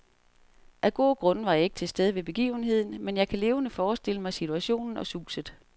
Af gode grunde var jeg ikke til stede ved begivenheden, men jeg kan levende forestille mig situationen og suset.